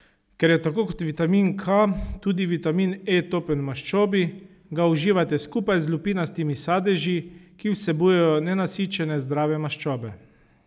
Ker je tako kot vitamin K tudi vitamin E topen v maščobi, ga uživajte skupaj z lupinastimi sadeži, ki vsebujejo nenasičene zdrave maščobe.